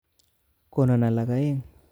Konon alak aeng